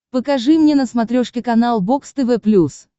покажи мне на смотрешке канал бокс тв плюс